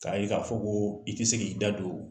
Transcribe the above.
Ka ye ka fɔ ko i ti se k'i da don